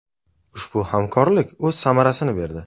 Ushbu hamkorlik o‘z samarasini berdi.